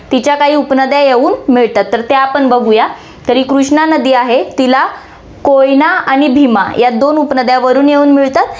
तिच्या काही उपनद्या येऊन मिळतात, तर ते आपण बघूया, तरी कृष्णा नदी आहे, तिला कोयना आणि भीमा या दोन उपनद्या वरुन येऊन मिळतात